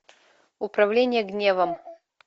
управление гневом